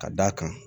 Ka d'a kan